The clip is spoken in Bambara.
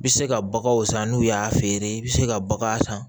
I bɛ se ka baganw san n'u y'a feere i bɛ se ka bagan san